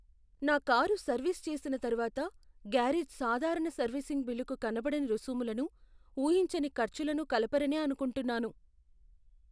నా car service చేసిన తర్వాత గ్యారేజ్ సాధారణ సర్వీసింగ్ బిల్లుకు కనబడని రుసుములను, ఊహించని ఖర్చులను కలపరనే అనుకుంటున్నాను.